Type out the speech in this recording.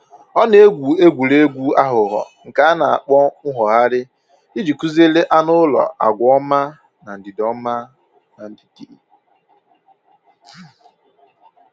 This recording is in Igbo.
Ọ na-egwu egwuregwu aghụghọ nke a na-akpọ mwogharị iji kụziere anụ ụlọ agwa ọma na ndidi ọma na ndidi